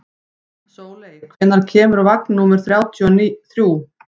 Sóley, hvenær kemur vagn númer þrjátíu og þrjú?